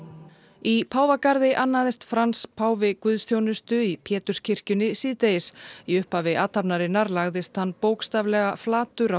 í Páfagarði annaðist Frans páfi guðsþjónustu í Péturskirkjunni síðdegis í upphafi athafnarinnar lagðist hann bókstaflega flatur á